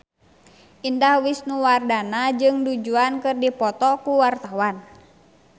Indah Wisnuwardana jeung Du Juan keur dipoto ku wartawan